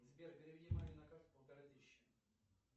сбер переведи маме на карту полторы тысячи